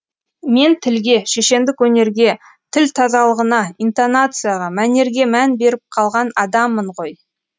мен тілге шешендік өнерге тіл тазалығына интоннацияға мәнерге мән беріп қалған адаммын ғой